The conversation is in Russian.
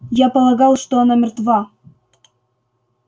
я полагал что она мертва